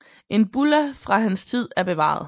En bulla fra hans tid er bevaret